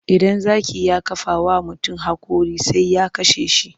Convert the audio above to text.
Idan zaki ya kafa wa mutum haƙora sai ya kashe shi.